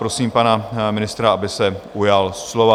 Prosím pana ministra, aby se ujal slova.